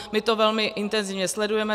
My to velmi intenzivně sledujeme.